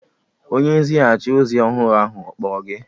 Onye nzighachi ozi ọhụrụ ahụ ọ kpọrọ gị?